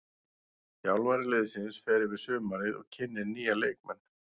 Þjálfari liðsins fer yfir sumarið og kynnir nýja leikmenn.